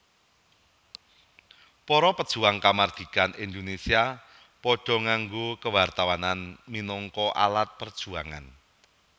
Para pejuang kamardikan Indonésia padha nganggo kewartawanan minangka alat perjuangan